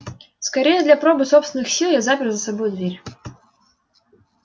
скорее для пробы собственных сил я запер за собой дверь